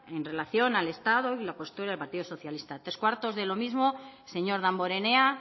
en relación al estado y la postura del partido socialista tres cuartos de lo mismo el señor damborenea